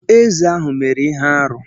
Eze ahụ mere ihe-árú.